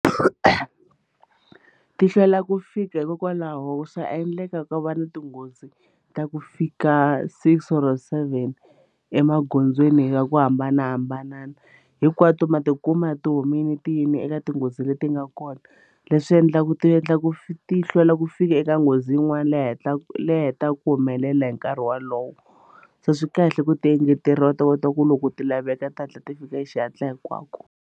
Ti hlwela ku fika hikokwalaho swa endleka ku va na tinghozi ta ku fika six or seven emagondzweni ka ku hambanahambanana hinkwato ma tikuma ti humile ti yime eka tinghozi leti nga kona leswi endlaku ti endla ku ti hlwela ku fika eka nghozi yin'wana leyi hatlaka leyi hetaka ku humelela hi nkarhi wolowo so swi kahle ku ti engeteriwa u ta kota ku loko ti laveka ti hatla ti fika hi xihatla hinkwako.